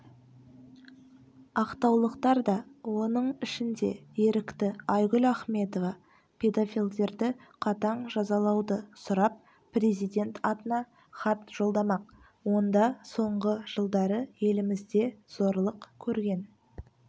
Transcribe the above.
ақтаулықтар да оның ішінде ерікті айгүл ахметова педофилдерді қатаң жазалауды сұрап президент атына хат жолдамақ онда соңғы жылдары елімізде зорлық көрген